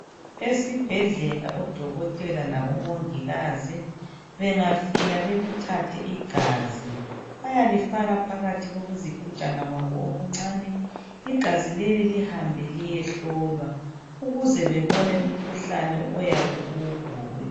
Esibhedlela odokotela labomongikazi bangafika bekuthathe igazi bayalifaka phakathi kokuzigujana kwabo okuncani igazi leli lihambe liyehlolwa ukuze bebone umkhuhlane oyabe uyigula.